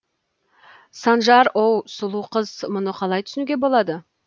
санжар оу сұлу қыз мұны қалай түсінуге болады